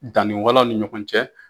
Danni walanw ni ɲɔgɔn cɛ.